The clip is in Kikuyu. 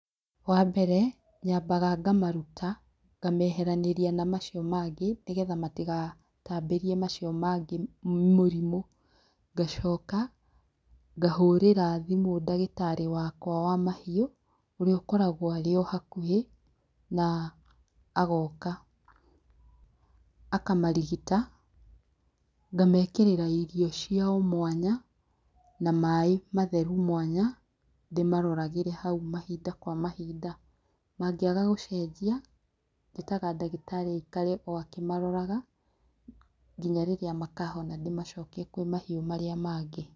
Wambere nyambaga ngamaruta ngameheranĩria na macio mangĩ nĩgetha matigatambĩrie macio mangĩ mũrĩmũ, ngacoka ngahũrĩra thimũ ndagĩtarĩ wakwa wa mahiũ ũrĩa ũkoragwo arĩ o hakuhĩ na agoka akamarigita. Ngamekĩrĩra irio ciao mwana na maaĩ matheru mwanya ndĩmaroragĩre hau mahinda kwa mahinda mangĩaga gũcenjia njĩtaga ndagĩtarĩ aikare akĩmaroraga nginya rĩrĩa makahona ndĩmacokie kũrĩ mahiũ marĩa mangĩ.